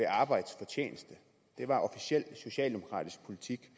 arbejdsfortjeneste det var officiel socialdemokratisk politik